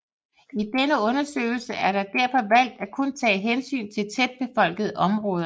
I denne undersøgelse er derfor valgt at kun tage hensyn til tætbebyggede områder